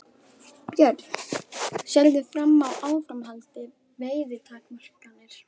Björn: Sérðu fram á áframhaldandi veiðitakmarkanir?